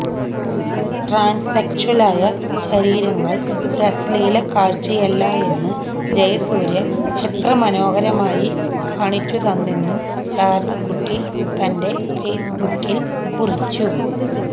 ട്രാന്സ്സെക്ഷ്വലായ ശരീരങ്ങള് ഒരശ്ലീലക്കാഴ്ചയല്ല എന്ന് ജയസൂര്യ എത്ര മനോഹരമായി കാണിച്ചു തന്നെന്നും ശാരദകുട്ടി തന്റെ ഫേസ്ബുക്കില് കുറിച്ചു